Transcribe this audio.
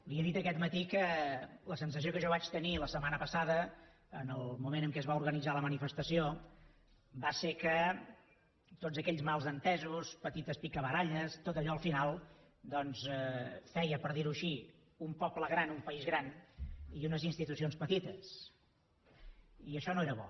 li he dit aquest matí que la sensació que jo vaig tenir la setmana passada en el moment en què es va organitzar la manifestació va ser que tots aquells malentesos petites picabaralles tot allò al final doncs feia per dir ho així un poble gran un país gran i unes institucions petites i això no era bo